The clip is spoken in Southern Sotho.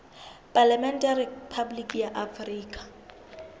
palamente ya rephaboliki ya afrika